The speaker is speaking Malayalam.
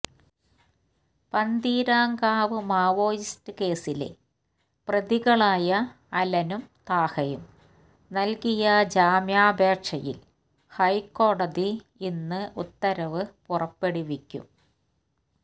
പന്തീരാംകാവ് മാവോയിസ്റ്റ് കേസിലെ പ്രതികളായ അലനും താഹയും നൽകിയ ജാമ്യാപേക്ഷയിൽ ഹൈക്കോടതി ഇന്ന് ഉത്തരവ് പുറപ്പെടുവിക്കും